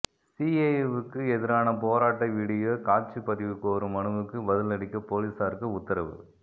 சிஏஏவுக்கு எதிரான போராட்ட விடியோ காட்சிப் பதிவு கோரும் மனுவுக்கு பதிலளிக்க போலீஸாருக்கு உத்தரவு